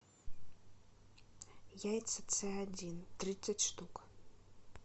яйца ц один тридцать штук